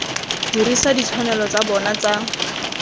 dirisa ditshwanelo tsa bona tsa